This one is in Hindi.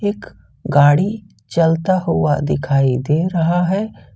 एक गाड़ी चलता हुआ दिखाई दे रहा है।